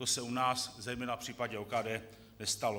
To se u nás zejména v případě OKD nestalo.